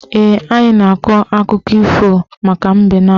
Ee, anyị ga-akọ akụkọ ifo maka mbe na agụ